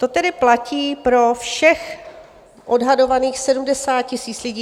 To tedy platí pro všech odhadovaných 70 000 lidí.